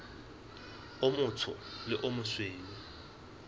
o motsho le o mosweu